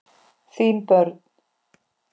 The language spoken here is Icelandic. Þín börn.